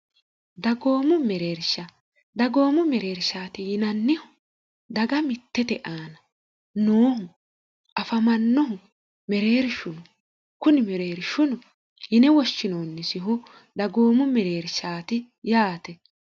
dagoomu mereersha dagoomu mereershaati yinannihu daga mittete aana noohu afamannohu mereeri shunu kuni mereeri shunu yine woshshinoonnisihu dagoomu mereershaati yaate